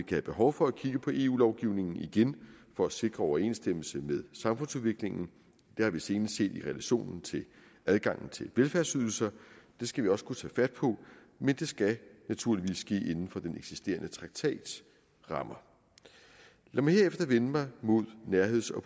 have behov for at kigge på eu lovgivningen igen for at sikre overensstemmelse med samfundsudviklingen det har vi senest set i relation til adgangen til velfærdsydelserne det skal vi også kunne tage fat på men det skal naturligvis ske inden for den eksisterende traktats rammer lad mig herefter vende mig mod nærheds og